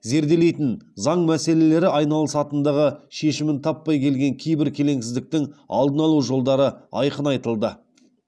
зерделейтін заң мәселелері айналысатындығы шешімін таппай келген кейбір келеңсіздіктің алдын алу жолдары айқын айтылды